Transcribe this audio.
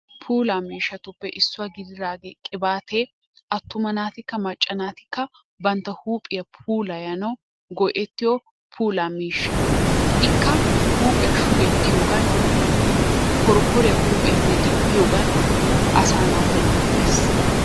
Puulaa miishshatuppe issuwa gididaagee qibaatee attuma naatikka maacca naatikka bantta huuphphiyaa puulayanawu go"ettiyoo puulaa miishsha. Ikka huuphphiyaa shuugettiyoogan porpporiya huphphiyappe diggiyoogan asaa naata loyttees.